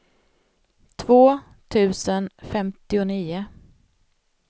två tusen femtionio